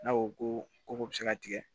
N'a ko ko bɛ se ka tigɛ